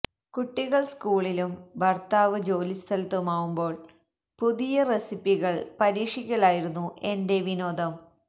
കുട്ടികള് സ്കൂളിലും ഭര്ത്താവ് ജോലിസ്ഥലത്തുമാവുമ്പോള് പുതിയ റെസിപ്പികള് പരീക്ഷിക്കലായിരുന്നു എന്റെ വിനോദം